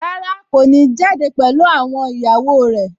Rárá, kò ní jáde pẹ̀lú àwọn ìyàwó rẹ̀